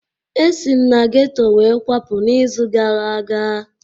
Esi m na geto wee kwapụ n'izu gara aga.